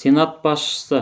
сенат басшысы